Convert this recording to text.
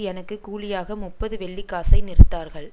எனக்கு கூலியாக முப்பது வெள்ளிக்காசை நிறுத்தார்கள்